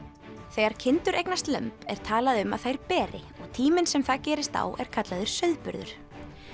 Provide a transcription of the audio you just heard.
þegar kindur eignast lömb er talað um að þær beri og tíminn sem það gerist á er kallaður sauðburður